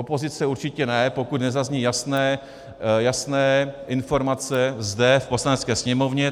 Opozice určitě ne, pokud nezazní jasné informace zde v Poslanecké sněmovně.